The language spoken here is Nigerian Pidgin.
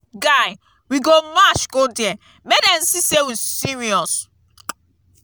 guy we go march go there make dem see say we serious.